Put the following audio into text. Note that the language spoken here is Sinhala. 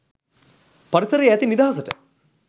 පරිසරයේ ඇති නිදහසට